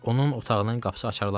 Onun otağının qapısı açılarmayıb.